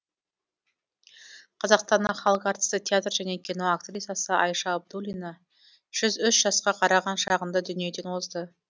қазақстанның халық әртісі театр және кино актрисасы айша абдуллина жұз үш жасқа қараған шағында дүниеден озды